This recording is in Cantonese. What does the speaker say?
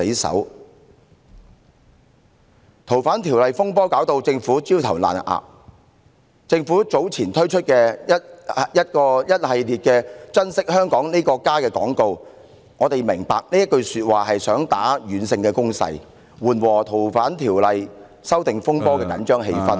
修例風波令政府焦頭爛額，因此在早前推出一系列"珍惜香港這個家"的廣告，我們明白其背後用意，是想作出軟性攻勢，緩和修例風波導致的緊張氣氛......